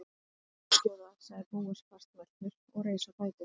Ég er engin klöguskjóða- sagði Bóas fastmæltur og reis á fætur.